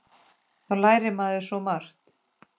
Þá lærir maður svo margt.